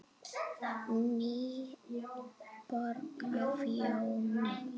NÝBORG Á FJÓNI